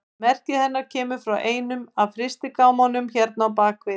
Merkið hennar kemur frá einum af frystigámunum hérna á bak við.